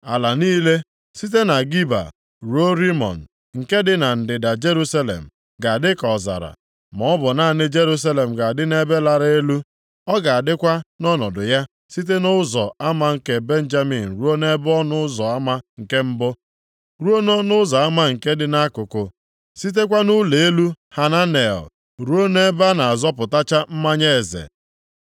Ala niile, site na Geba ruo Rimọn, nke dị na ndịda Jerusalem ga-adị ka ọzara. Ma ọ bụ naanị Jerusalem ga-adị nʼebe lara elu. Ọ ga-adịkwa nʼọnọdụ ya site nʼọnụ ụzọ ama nke Benjamin ruo nʼebe ọnụ ụzọ ama nke Mbụ, ruo nʼọnụ ụzọ ama nke dị nʼAkụkụ, sitekwa nʼỤlọ elu Hananel ruo nʼebe a na-azọchapụta mmanya eze.